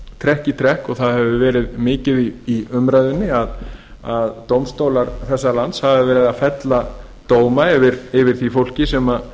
trekk í trekk og það hefur verið mikið í umræðunni að dómstólar þessa lands hafa verið að fella dóma yfir fólki sem